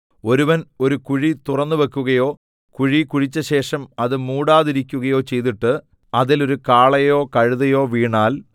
ഒരുവൻ ഒരു കുഴി തുറന്നുവക്കുകയോ കുഴി കുഴിച്ചശേഷം അത് മൂടാതിരിയ്ക്കുകയോ ചെയ്തിട്ട് അതിൽ ഒരു കാളയോ കഴുതയോ വീണാൽ